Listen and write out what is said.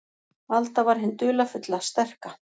Alda var hin dularfulla, sterka.